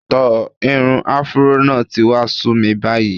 Tò, irun afuró náà ti wá sú mi báyìí.